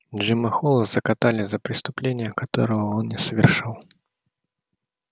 джима холла закатали за преступление которого он не совершал